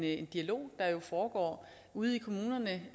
en dialog der foregår ude i kommunerne